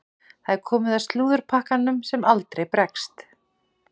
Það er komið að slúðurpakkanum sem aldrei bregst.